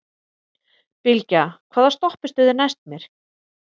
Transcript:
Bylgja, hvaða stoppistöð er næst mér?